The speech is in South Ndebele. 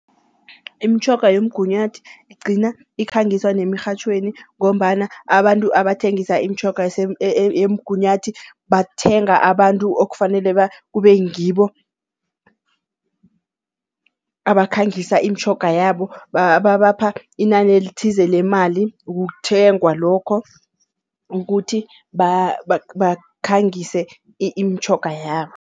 Imitjhoga yomgunyathi igcina ikhangiswa nemirhatjhweni ngombana abantu abathengisa imitjhoga yemgunyathi bathenga abantu okufanele kube ngibo abakhangisa imitjhoga yabo. Babapha inani elithize lemali ukukuthengwa lokho ukuthi bakhangise imitjhoga yabo.